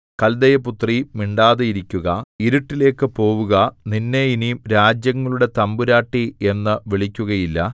കൽദയപുത്രീ മിണ്ടാതെയിരിക്കുക ഇരുട്ടിലേക്ക് പോവുക നിന്നെ ഇനി രാജ്യങ്ങളുടെ തമ്പുരാട്ടി എന്നു വിളിക്കുകയില്ല